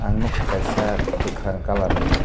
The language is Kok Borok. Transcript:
ang nukha kaisa kwkhwrang colourni.